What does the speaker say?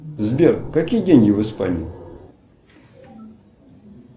сбер какие деньги в испании